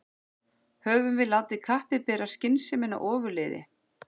Höfum við látið kappið bera skynsemina ofurliði?